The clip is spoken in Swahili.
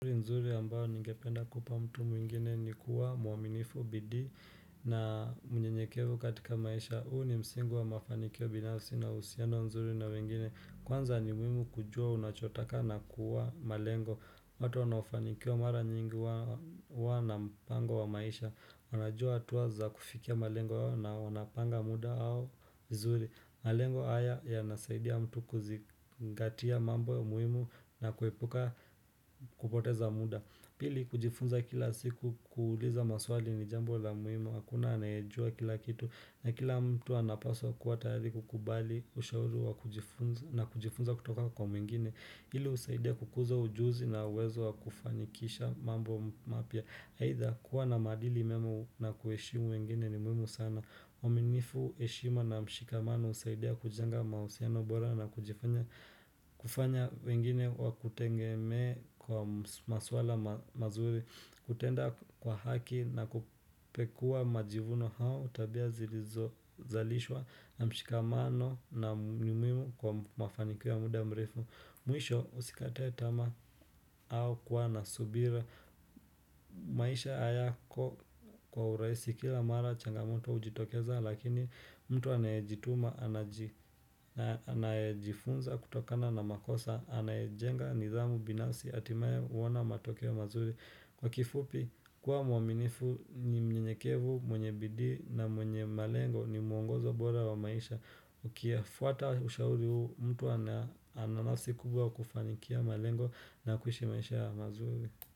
Nzuri nzuri ambayo ningependa kupa mtu mwingine ni kuwa mwaminifu bidii na mnyenyekevu katika maisha. Huu ni msingi wa mafanikio binafsi na usiano nzuri na wengine. Kwanza ni muhimu kujua unachotaka na kuwa malengo. Watu wanaofanikiwa mara nyingi hua na mpango wa maisha. Wanajua hatua za kufikia malengo na wanapanga muda au nzuri. Malengo haya yanasaidia mtu kuzingatia mambo ya muhimu na kuepuka kupoteza muda Pili kujifunza kila siku kuuliza maswali ni jambo la muhimu Hakuna anayejua kila kitu na kila mtu anapaswa kuwa tayari kukubali ushauri wa kujifunza na kujifunza kutoka kwa mwingine Hili husaidia kukuza ujuzi na uwezo wa kufanikisha mambo mapya Aidha kuwa na maadili mema na kuheshimu wengine ni muhimu sana uaminifu heshima na mshikamano husaidia kujenga mahusiano bora na kujifanya kufanya wengine wakutengemee kwa ms masuala mazuri kutenda kwa haki na kupekua majivuno hao tabia zilizo zalishwa na mshikamano na ni muhimu kwa mafanikio ya muda mrefu Mwisho usikate tamaa au kua na subira. Maisha hayako kwa urahisi kila mara changamoto hujitokeza lakini mtu anayejituma anaji anayejifunza kutokana na makosa anayejenga nidhamu binafsi hatimaye huona matokeo mazuri. Kwa kifupi, kuwa mwaminifu ni mnyenyekevu, mwenye bidii na mwenye malengo ni muongozo bora wa maisha Ukiyafuata ushauri huu, mtu ana ananasikubwa kufanikia malengo na kuishi maisha mazuri.